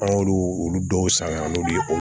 An y'olu olu dɔw san ka n'olu ye o